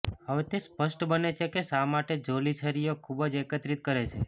હવે તે સ્પષ્ટ બને છે કે શા માટે જોલી છરીઓ ખૂબ જ એકત્રિત કરે છે